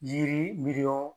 Yiri miliyɔn